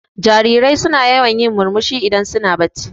Jarirai suna yawan yin murmushi in su na bacci.